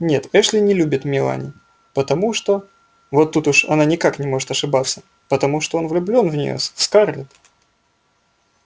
нет эшли не любит мелани потому что вот тут уж она никак не может ошибаться потому что он влюблён в неё в скарлетт